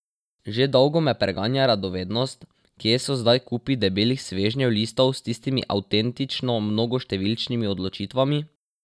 Že dolgo me preganja radovednost, kje so zdaj kupi debelih svežnjev listov s tistimi avtentično mnogoštevilnimi odločitvami?